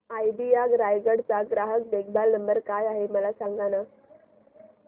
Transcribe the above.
idea Raigad चा ग्राहक देखभाल नंबर काय आहे मला सांगाना